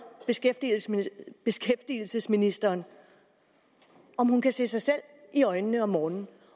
beskæftigelsesministeren om hun kan se sig selv i øjnene om morgenen